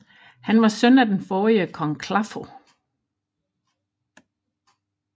Han var søn af den forrige konge Claffo